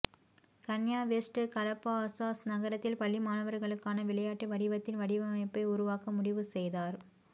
கன்யா West Calabasas நகரத்தில் பள்ளி மாணவர்களுக்கான விளையாட்டு வடிவத்தின் வடிவமைப்பை உருவாக்க முடிவு செய்தார்